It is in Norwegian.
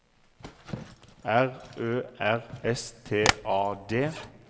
R Ø R S T A D